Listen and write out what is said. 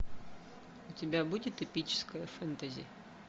у тебя будет эпическое фэнтези